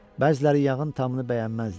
Bəziləri yağın tamını bəyənməzdi.